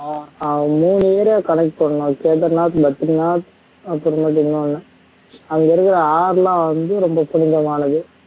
அஹ் மூணு இத connect பண்ணும் கேதர்நாத் பத்ரிநாத் அப்பறமேட்டு இன்னோனு அங்க இருக்குற ஆறுல வந்து ரொம்ப புனிதமானது